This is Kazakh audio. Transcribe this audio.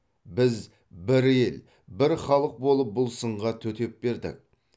біз бір ел бір халық болып бұл сынға төтеп бердік